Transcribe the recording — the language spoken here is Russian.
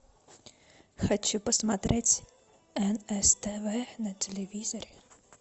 хочу посмотреть нс тв на телевизоре